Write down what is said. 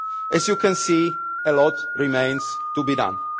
As you can see, a lot remains to be done.